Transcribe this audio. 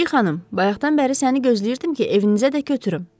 Kiçik xanım, bayaqdan bəri səni gözləyirdim ki, evinizə də götürüm.